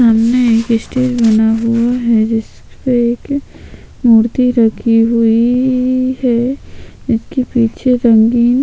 सामने स्टेज बना हुआ है जिस पे एक मूर्ति रखी हुई है इसके पीछे रंगीन--